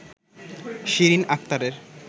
শিরিন আক্তারের